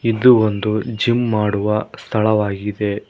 ಇದು ಒಂದು ಜಿಮ್ ಮಾಡುವ ಸ್ಥಳವಾಗಿದೆ.